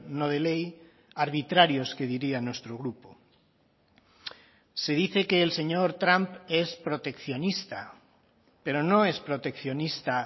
no de ley arbitrarios que diría nuestro grupo se dice que el señor trump es proteccionista pero no es proteccionista